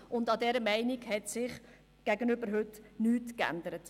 An dieser Meinung hat sich bis heute nichts geändert.